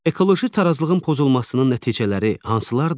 Ekoloji tarazlığın pozulmasının nəticələri hansılardır?